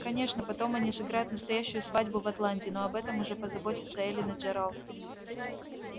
конечно потом они сыграют настоящую свадьбу в атланте но об этом уж позаботятся эллин и джералд